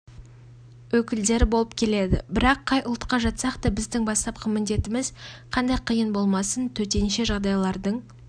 өкілдері болып келеді бірақ қай ұлтқа жатсақта біздің бастапқы міндетіміз қандай қиын болмасын төтенше жағдайлардың